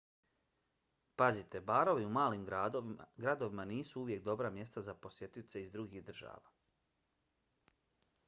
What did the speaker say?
pazite - barovi u malim gradovima nisu uvijek dobra mjesta za posjetioce iz drugih država